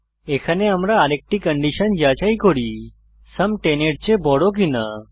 এখানে আমরা আরেকটি কন্ডিশন যাচাই করি যে সুম 10 এর চেয়ে বড় কিনা